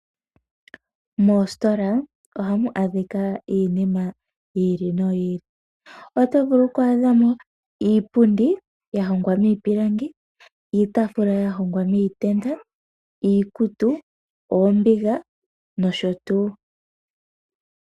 Moositola ohamu adhika iinima yi ili noyi ili. Oto vulu oku adha mo iipundi ya hongwa miipilangi, iitaafula ya hongwa miitenda, iikutu, oombiga nosho tuu.